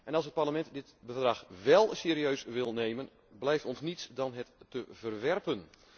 Als het Parlement dit Verdrag wél serieus wil nemen, blijft ons niets anders dan het te verwerpen.